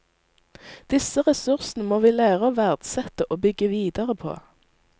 Disse ressursene må vi lære å verdsette og bygge videre på.